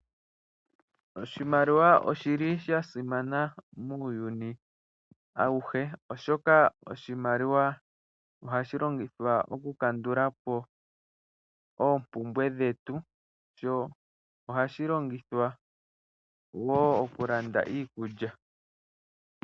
Oshimaliwa oshili shasimana muuyuni awuhe oshoka oshimaliwa ohashi longithwa okukandulapo oompumbwe dhetu sho ohashi longithwa wo okulanda iikulya.